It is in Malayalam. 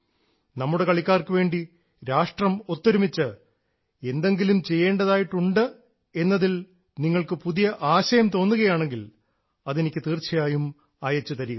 നമ്മുടെ കളിക്കാർക്കുവേണ്ടി രാഷ്ട്രം ഒത്തൊരുമിച്ച് എന്തെങ്കിലും ചെയ്യേണ്ടതായിട്ടുണ്ട് എന്നതിൽ നിങ്ങൾക്ക് എന്തെങ്കിലും ആശയം തോന്നുകയാണെങ്കിൽ അതെനിക്ക് തീർച്ചയായും അയച്ചു തരിക